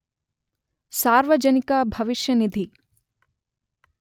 ಸಾರ್ವಜನಿಕ ಭವಿಷ್ಯ ನಿಧಿ.